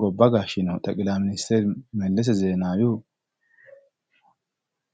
gobba gashinohu Mellese Zenawihu